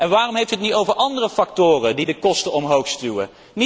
Waarom hebt u het niet over andere factoren die de kosten omhoogstuwen?